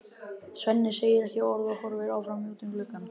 Svenni segir ekki orð og horfir áfram út um gluggann.